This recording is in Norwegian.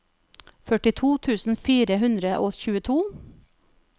førtito tusen fire hundre og tjueto